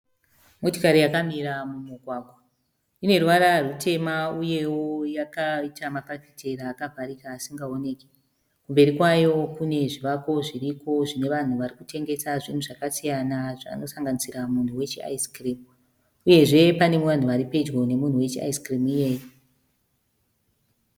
Motikari yakamira mumugwagwa. Ine ruvara rutema uyeo yakaita mafafitera akavharika asingaoneki. Kumberi kwayo kune zvivako zviriko zvine vanhu varikutengesa zvinhu zvakasiyana zvinosanganisira munhu wechi aisikirimu uyezve pane vanhu varipedyo nemunhu wechi aisikirimu iyeye.